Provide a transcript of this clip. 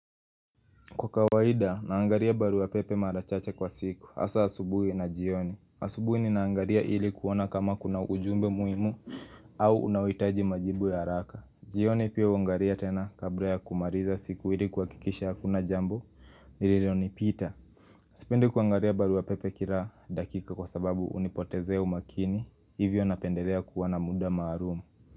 Kwa kawaida, naangalia barua pepe mara chache kwa siku. Hasa asubuhi na jioni. Asubuhi ni naangalia ili kuona kama kuna ujumbe muhimu au unaohitaji majibu ya haraka. Jioni pia huangalia tena kabla ya kumaliza siku ili kuhakikisha hakuna jambo, lililonipita Sipendi kuangalia baru ya pepe kila dakika kwa sababu hunipotezea umakini. Hivyo napendelea kuwa na muda maarum.